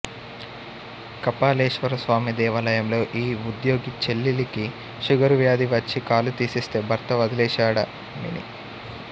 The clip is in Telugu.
కపాలేశ్వరస్వామి దేవాలయంలో ఈ వుద్యోగి చెల్లెలికి షుగరు వ్యాధి వచ్చి కాలు తీసెస్తే భర్త వదిలేశాడమెని